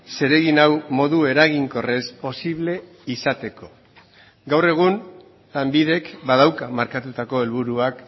zeregin hau modu eraginkorrez posible izateko gaur egun lanbidek badauka markatutako helburuak